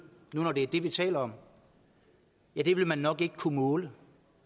nu når det er det vi taler om ja det vil man nok ikke kunne måle